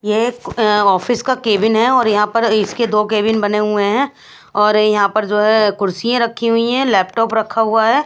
ये एक आफिस का केबिन है और यहां पे इसके दो केबिन बने हुए है और यहां पे जो है कुर्सी रखी हुई है लैपटॉप रखा हुआ है।